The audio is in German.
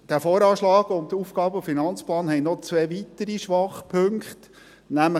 Der VA und der AFP haben noch zwei weitere Schwachpunkte.